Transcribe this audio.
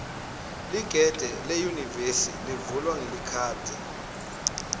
ligede leyunivesi livulwa ngelikhadi